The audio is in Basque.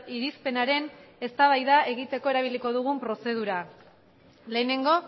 irizpenaren eztabaida egiteko erabiliko dugun prozedura lehenengo